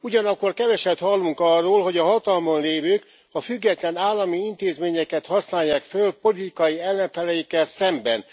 Ugyanakkor keveset hallunk arról, hogy a hatalmon lévők a független állami intézményeket használják föl politikai ellenfeleikkel szemben.